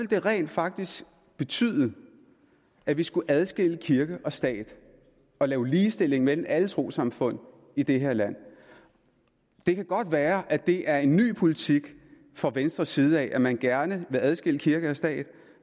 det rent faktisk betyde at vi skulle adskille kirke og stat og lave ligestilling mellem alle trossamfund i det her land det kan godt være at det er en ny politik fra venstres side at man gerne vil adskille kirke og stat